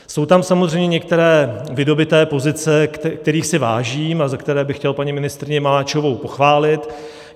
Jsou tam samozřejmě některé vydobyté pozice, kterých si vážím a za které bych chtěl paní ministryni Maláčovou pochválit.